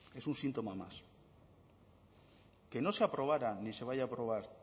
en un síntoma más que no se aprobaran ni se vaya a aprobar